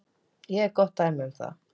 Ég er gott dæmi um það.